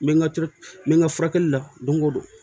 N bɛ n ka n bɛ n ka furakɛli la don o don